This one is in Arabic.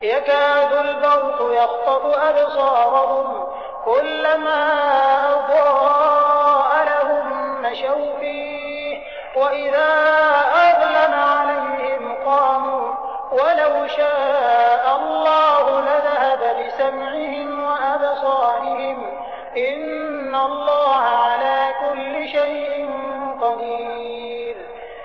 يَكَادُ الْبَرْقُ يَخْطَفُ أَبْصَارَهُمْ ۖ كُلَّمَا أَضَاءَ لَهُم مَّشَوْا فِيهِ وَإِذَا أَظْلَمَ عَلَيْهِمْ قَامُوا ۚ وَلَوْ شَاءَ اللَّهُ لَذَهَبَ بِسَمْعِهِمْ وَأَبْصَارِهِمْ ۚ إِنَّ اللَّهَ عَلَىٰ كُلِّ شَيْءٍ قَدِيرٌ